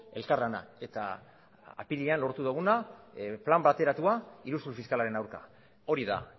elkarlana eta apirilean lortu duguna plan bateratua iruzur fiskalaren aurka hori da